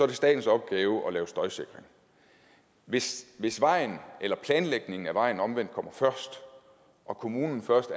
det statens opgave at lave støjsikring hvis hvis vejen eller planlægningen af vejen omvendt kommer først og kommunen